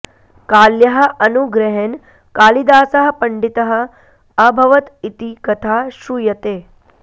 काल्याः अनुग्रहेण कालिदासः पण्डितः अभवत् इति कथा श्रूयते